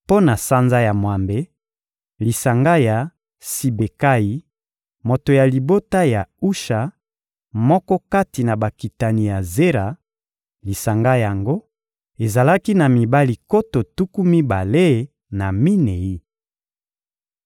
Mpo na sanza ya mwambe: lisanga ya Sibekayi, moto ya libota ya Usha, moko kati na bakitani ya Zera; lisanga yango ezalaki na mibali nkoto tuku mibale na minei.